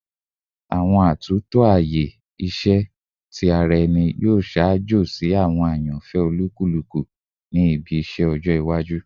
Awọn atunto aaye iṣẹ ti ara ẹni yoo ṣaajo si awọn ayanfẹ olukuluku ni ibi iṣẹ iwaju